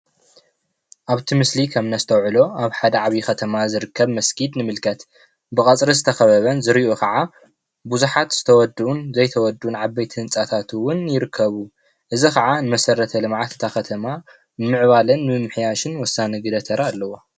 ኣብቲ ምስሊ ከምእነስተውዕሎ ኣብ ሓደ ዓብይ ከተማ ዝርከብ መስጊድ ንምልከት ብቀፅሪ ዝተከበበን ዝርይኡ ከዓ ብዙሓት ዝተወድኡን ዘይተወድኡን ዓበይቲ ህንፃታት እውን ይርከቡ እዙይ ከዓ ንመሰርተ ልምዓት እታ ከተማ ንምዕባለ ንምምሕያሽን ወሳኒ ግደ ተራ ኣለዎ።